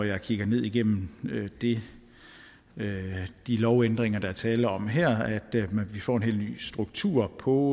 jeg kigger ned igennem de lovændringer der er tale om her at vi får en helt ny struktur på